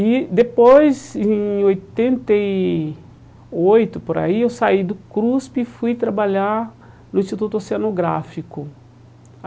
E depois, em oitenta e oito, por aí, eu saí do CRUSP e fui trabalhar no Instituto Oceanográfico.